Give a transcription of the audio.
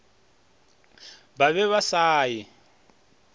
ba be ba sa e